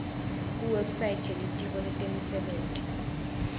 kuwebsite yelitiko letemisebenti